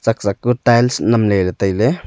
zah ku tiles nam ley ley tailey.